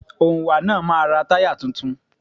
Òǹwà náà máa ra táyà tuntun.